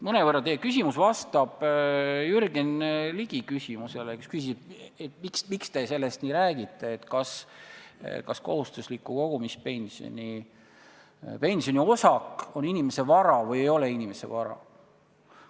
Mõnevõrra vastab teie küsimus Jürgen Ligi küsimusele, kes küsib, miks te sellest nii räägite ja kas kohustusliku kogumispensioni osak on inimese enda vara või ei ole inimese vara.